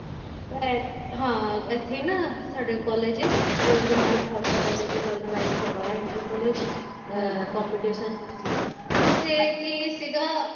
ਹਾਂ ਇੱਥੇ ਨਾ ਸਾਡੇ college ਗੁਰੂ ਨਾਨਕ ਖਾਲਸਾ college ਵਿੱਚ organize ਕਰਵਾਇਆ inter college ਅਹ competition ਚ ਸੀ ਤੇ ਉੱਥੇ ਕੀ ਸੀਗਾ